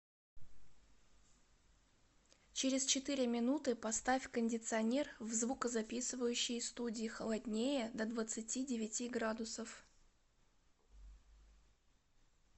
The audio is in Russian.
через четыре минуты поставь кондиционер в звукозаписывающей студии холоднее до двадцати девяти градусов